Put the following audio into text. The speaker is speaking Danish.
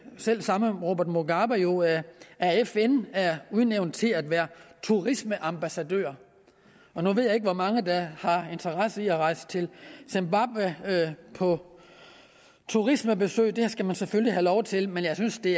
selv samme robert mugabe jo af fn er udnævnt til at være turistambassadør nu ved jeg ikke hvor mange der har interesse i at rejse til zimbabwe på turismebesøg det skal man selvfølgelig have lov til men jeg synes det